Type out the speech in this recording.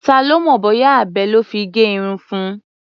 Ta ló mọ̀ bóyá abẹ lọ́ fi gé irun fun?